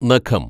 നഖം